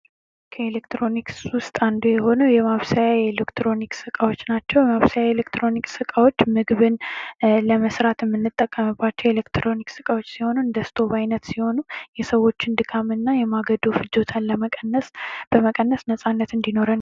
ከኤሌክትሮኒክስ ውስጥ አንዱ የሆነው የማብሰያ ኤሌክትሮኒክስ እቃዎች ናቸው። የኤሌክትሮኒክስ እቃዎች ምግብን ለመስራት የምንጠቀምባቸው ኤሌክትሮኒክስ እቃዎች ሲሆኑ እንደ ስቶብ አይነት ሲሆኑ የሰዎችን ድካም እና የማገዶ ፍጆታን በመቀነስ ነፃነት እንዲኖረን ያደርጋል።